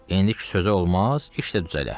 İndiki sözü olmaz, iş də düzələr.